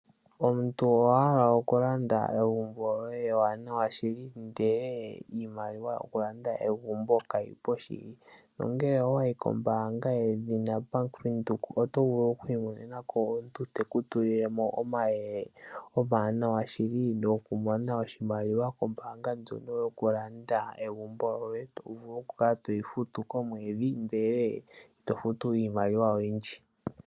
Omuntu owahala okulanda egumbo lyoye ewaanawa shiki ndele iimaliwa yokulanda egumbo kayipo shili. No ngele owayi kombaanga ye dhina bank windhoek, otovulu okwii mone nako omuntu teku tulilemo omayele omawaanawa shili, go kumona oshimaliwa kombaanga ndyono yo kulanda egumbo ngoye to vulu okukala toyi futu komwedhi ndele ito tofutu iimaliwa oyindji.